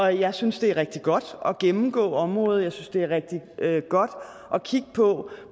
jeg synes det er rigtig godt at gennemgå området jeg synes det er rigtig godt at kigge på